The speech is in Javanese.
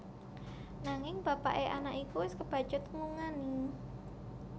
Nanging bapaké anak iku wis kebacut nglungani